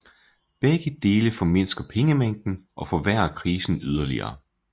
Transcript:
Begge dele formindsker pengemængden og forværrer krisen yderligere